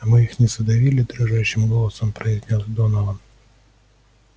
а мы их не задавили дрожащим голосом произнёс донован